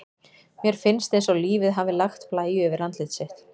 Mér finnst eins og lífið hafi lagt blæju yfir andlit sitt.